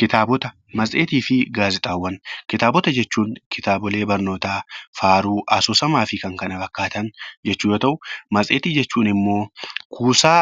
Kitaabota, matseetii fi gaazexaawwan. Kitaabota jechuun kitaabolee barnootaa, faaruu, asoosamaa fi kan kana fakkaatan jechuu yoo ta'u matseetii jechuun immoo kuusaa